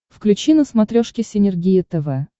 включи на смотрешке синергия тв